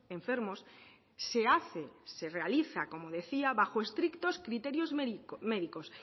enfermos se hace se realiza como decía bajo estrictos criterios médicos